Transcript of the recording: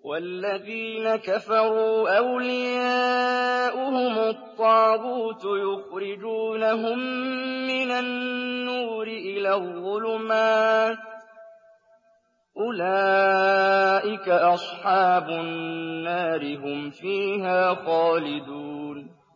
وَالَّذِينَ كَفَرُوا أَوْلِيَاؤُهُمُ الطَّاغُوتُ يُخْرِجُونَهُم مِّنَ النُّورِ إِلَى الظُّلُمَاتِ ۗ أُولَٰئِكَ أَصْحَابُ النَّارِ ۖ هُمْ فِيهَا خَالِدُونَ